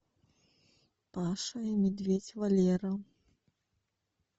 паша и медведь валера